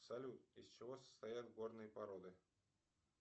салют из чего состоят горные породы